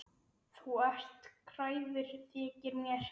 Þú ert kræfur, þykir mér.